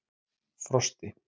Frosti